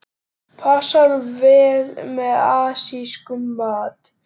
Passar vel með asískum mat.